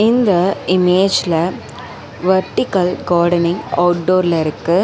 இந்த இமேஜ்ல vertical gardening அவுட்டோர்ல இருக்கு.